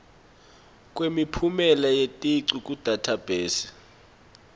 kwemiphumela yeticu kudathabhesi